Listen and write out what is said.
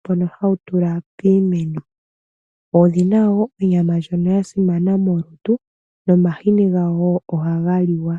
mbono ha wu tulwa piimeno. Odhina woo onyama ndyono ya simana molutu nomahini gawo oha ga liwa.